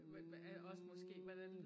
Hm